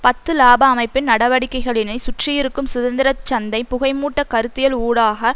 பத்து இலாப அமைப்பின் நடவடிக்கைகளினை சுற்றியிருக்கும் சுதந்திர சந்தை புகைமூட்ட கருத்தியல் ஊடாக